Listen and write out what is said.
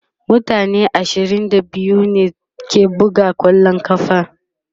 mutane ashirin da biyu ne ke buga kwallon ƙafa